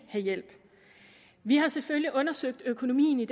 have hjælp vi har selvfølgelig undersøgt økonomien i